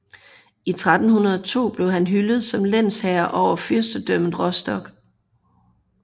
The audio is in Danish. I 1302 blev han hyldet som lensherre over fyrstendømmet Rostock